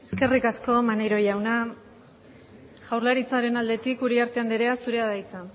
eskerrik asko maneiro jauna jaurlaritzaren aldetik uriarte andrea zurea da hitza